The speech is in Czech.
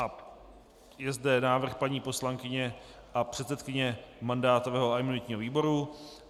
A je zde návrh paní poslankyně a předsedkyně mandátového a imunitního výboru.